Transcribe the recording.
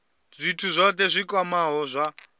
zwithu zwohe zwi kwamaho zwa